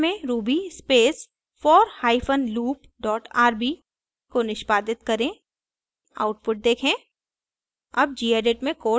अपने टर्मिनल में ruby space for hyphen loop dot rb को निष्पादित करें आउटपुट देखें